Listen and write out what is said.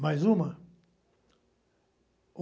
Mais uma?